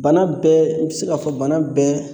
Bana bɛɛ n ti se k'a fɔ bana bɛɛ